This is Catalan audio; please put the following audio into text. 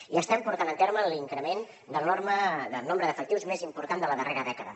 i estem portant a terme l’increment del nombre d’efectius més important de la darrera dècada